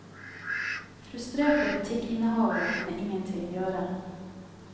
Frustrerte butikkinnehavere kunne ingen ting gjøre.